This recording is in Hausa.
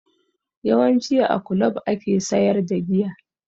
Yawanci a kulob ake sayar da giya